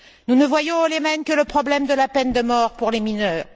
Nous ne voyons au Yémen que le problème de la peine de mort pour les mineurs.